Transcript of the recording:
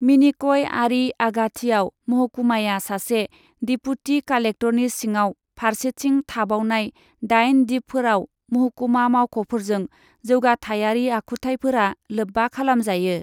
मिनिकय आरि आगाथिआव महकुमाया सासे देपुटि कालेक्टरनि सिङाव फारसेथिं थाबावनाय दाइन दिपफोराव महकुमा मावख'फोरजों जौगाथाइयारि आखुथायफोरा लोब्बा खालामजायो।